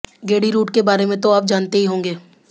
गेड़ी route के बारे में तो आप जानते ही होंगे